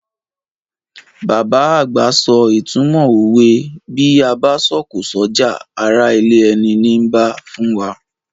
Bàbá àgbà so ìtumọ̀ òwe "Bí a bá sọ̀kò s'ọ́jà, ará ilé ẹni nii bá" fún wa.